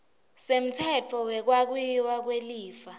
semtsetfo wekwabiwa kwelifa